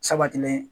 Sabatilen